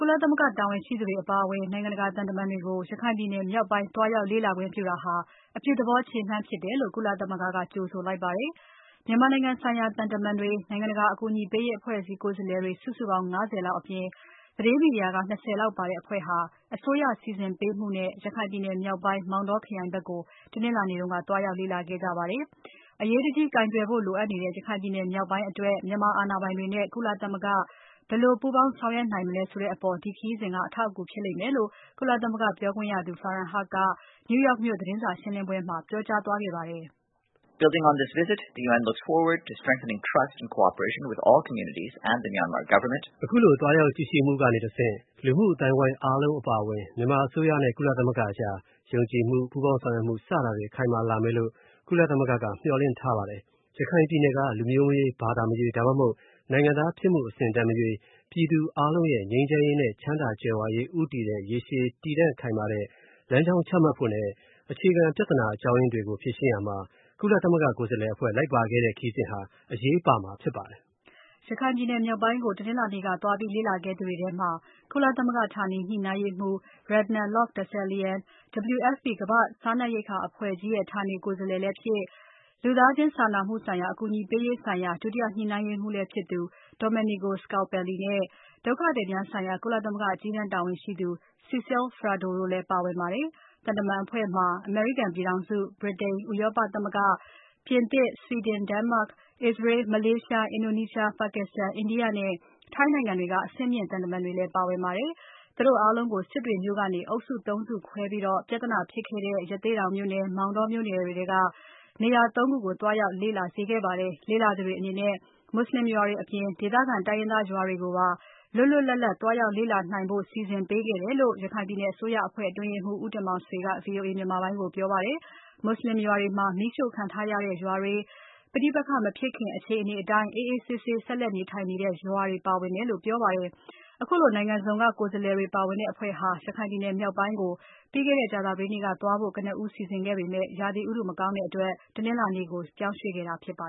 လသမဂ္ဂတာဝန်ရှိသူတွေအပါအဝင် နိုင်ငံတကာသံတမန်တွေကို ရခိုင်ပြည်နယ်မြောက်ပိုင်းကို သွားရောက်လေ့လာခွင့်ပြုခဲ့တာကို အပြုသဘောခြေလှမ်းအဖြစ် ကုလသမဂ္ဂက ကြိုဆိုလိုက်ပါတယ်။ မြန်မာနိုင်ငံဆိုင်ရာ သံတမန်တွေ၊ နိုင်ငံတကာ အကူအညီပေးရေးအဖွဲ့အစည်း ကိုယ်စားလှယ်တွေ စုစုပေါင်း ၅၀ လောက်အပြင် သတင်းမီဒီယာက ၂၀ လောက်ပါတဲ့အဖွဲ့ဟာ အစိုးရစီစဉ်ပေးမှုနဲ့ ရခိုင်ပြည်နယ် မြောက်ပိုင်း မောင်တောခရိုင်ဖက်ကို တနင်္လာနေ့က သွားရောက်လေ့လာခဲ့ကြတာပါ။ "အရေးတကြီးကိုင်တွယ်ဖို့ လိုအပ်နေတဲ့ ရခိုင်ပြည်နယ် မြောက်ပိုင်းအတွက် မြန်မာအာဏာပိုင်တွေနဲ့ကုလသမဂ္ဂက ဘယ်လိုပူးပေါင်းဆောင်ရွက်နိုင်မလဲဆိုတဲ့အပေါ် ဒီခရီးစဉ်က အထောက်အကူဖြစ်လိမ့်မယ်လို့ "ကုလသမဂ္ဂပြောခွင့်ရသူ Farhan Haq က New York သတင်းစာရှင်းပွဲမှာ ပြောကြားသွားတာဖြစ်ပါတယ်။ "အခုလိုသွားရောက်ကြည့်ရှုမှုကနေတဆင့် လူမှုအသိုင်းအဝိုင်းအားလုံးအပါအဝင် မြန်မာအစိုးရနဲ့ ကုလသမဂ္ဂအကြား ယုံကြည်မှု ပူးပေါင်းဆောင်ရွက်မှု စတာတွေ ခိုင်မာလာမယ်လို့ ကုလသမဂ္ဂက မျှော်လင့်ထားပါတယ်။ ရခိုင်ပြည်နယ်က လူမျိုးမရွေးဘာသာမရွေး ဒါမှမဟုတ် နိုင်ငံသားဖြစ်မှုအဆင့်အတန်းမရွေး ပြည်သူအားလုံးနဲ့ ငြိမ်းချမ်းရေး ချမ်းသာကြွယ်ဝမှု ဦးတည်တဲ့ ရေရှည်တည်တံ့ခိုင်မာတဲ့ လမ်းကြောင်းချမှတ်ဖို့နဲ့ အခြေခံပြဿနာအကြောင်းအရင်းတွေကို ဖြေရှင်းရာမှာ ကုလသမဂ္ဂကိုယ်စားလှယ်အဖွဲ့ လိုက်ပါခဲ့တဲ့ ခရီးစဉ်ဟာ အရေးပါမှာဖြစ်ပါတယ်။" ရခိုင်မြောက်ပိုင်းသွားလေ့လာခဲ့သူတွေထဲမှာ ကုလသမဂ္ဂဌာနေညှိနှိုင်းရေးမှူး Renata Lok-Dessallien၊ WFP ကမ္ဘာ့စားနပ်ရိက္ခာအဖွဲ့ ဌာနေကိုယ်စားလှယ်လည်းဖြစ်၊ လူသားချင်းစာနာမှုဆိုင်ရာမှု အကူအညီပေးရေးဆိုင်ရာ ဒုတိယညှိနှိုင်းရေးမှူးလည်းဖြစ်သူ Domenico Scalpelli နဲ့ ဒုက္ခသည်များဆိုင်ရာ ကုလသမဂ္ဂအကြီးတန်းတာဝန်ရှိသူ Cécile Fradot တို့လည်းပါဝင်ပါတယ်။ သံတမန်တွေအဖွဲ့မှာ အမေရိကန်ပြည်ထောင်စု၊ ဗြတိန်၊ ဥရောပသမ၈္ဂ၊ပြင်သစ်၊ ဆွိဒင်၊ ဒိနိးမတ်၊ အစ္စရေး။ မလေးရှား၊ အင်ဒိုနီးရှား၊ ပါက္စတန်၊ အိန္ဒိယ နဲ့ ထိုင်း အစရှိတဲ့ နိုင်ငံတွေအဆင့်မြင့် သံတမန်တွေလဲ လိုက်ပါသွားခဲ့ပါတယ် ၊သူတို့အားလုံးကို စစ်တွေမြို့ကနေ အုပ်စု ၃ စုခွဲပြီး ရဟတ်ယဉ် ၃ စင်း နဲ့ ပြဿနာဖြစ်ခဲ့တဲ့ ရသေ့တောင်မြို့နယ်။ မောင်တောမြို့နယ်တွေထဲက နေရာ ၃ ခုကိုသွားရောက် လေ့လာစေခဲ့ပါတယ်။ လေ့လာသူတွေအနေနဲ့ မူဆလင်ရွာတွေအပြင် ဒေသခံတိုင်းရင်းသားရွာတွေကို လွတ်လွပ်လပ်လပ်သွားရောက်လေ့လာနိုင်ဖို့ စီစဉ်ပေးခဲ့တယ်လို့ ရခိုင်ပြည်နယ်အစိုးရအဖွဲ့ အတွင်းရေးမှုး ဦးတင်မောင်ဆွေက VOA မြန်မာပိုင်းကို ပြောပါတယ်။ မူဆလင်ရွာတွေထဲမှာ မီးရှို့ခံထားရတဲ့ရွာတွေ၊ ပဋိပက္ခမဖြစ်ခင် အခြေအနေအတိုင်း အေးအေးဆေးဆေးနေထိုင်နေတဲ့ ရွာတွေပါတယ်လို့ပြောပါတယ်။ခုလိုနိုင်ငံစုံက ကိုယ်စားလှယ်တွေ ပါဝင်တဲ့အဖွဲ့ဟာ ရခိုင်မြောက်ပိုင်းကိုပြီးခဲ့တဲ့ ကြာသပတေးနေ့က သွားဖို့ ကနဦးစီစဉ်ခဲ့ပေမဲ့ ရာသီဥတုမကောင်းတဲ့အတွက် တနင်္လာနေ့ကို ပြောင်းရွှေ့ခဲ့တာဖြစ်ပါ